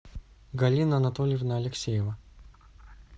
галина анатольевна алексеева